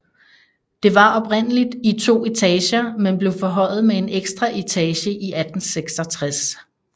Det var oprindeligt i to etager men blev forhøjet med en ekstra etage i 1866